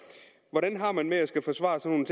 hvordan har man det med at skulle forsvare sådan